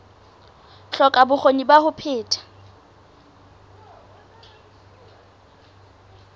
hloka bokgoni ba ho phetha